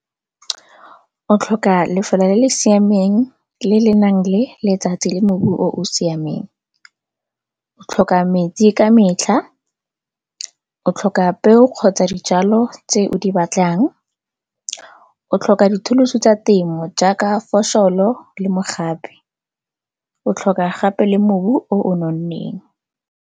O tlhoka lefelo le le siameng le le nang le letsatsi le mobu o o siameng. O tlhoka metsi ka metlha, o tlhoka peo kgotsa dijalo tse o di batlang, o tlhoka dithulusu tsa temo jaaka fosholo le mogape o tlhoka gape le mobu o o nonneng.